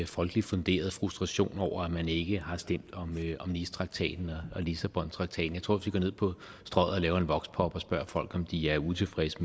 folkeligt funderet frustration over at man ikke har stemt om nicetraktaten og lissabontraktaten jeg tror vi går ned på strøget og laver en voxpop og spørger folk om de er utilfredse